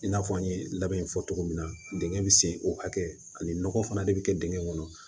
I n'a fɔ an ye labɛn in fɔ cogo min na dingɛ bɛ sen o hakɛ ani nɔgɔ fana de bɛ kɛ dingɛn kɔnɔ